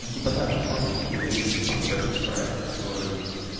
ну типа да там просто был уебищный пхпешный проект который